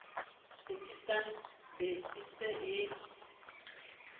tsekisang be e se e